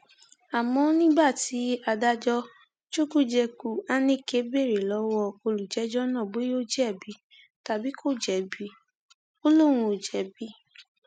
àmọ nígbà tí adájọ chukwujekwu aneke béèrè lọwọ olùjẹjọ náà bóyá ó jẹbi tàbí kò jẹbi ó lóun kò jẹbi